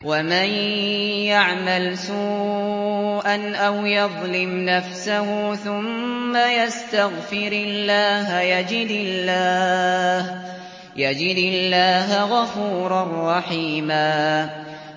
وَمَن يَعْمَلْ سُوءًا أَوْ يَظْلِمْ نَفْسَهُ ثُمَّ يَسْتَغْفِرِ اللَّهَ يَجِدِ اللَّهَ غَفُورًا رَّحِيمًا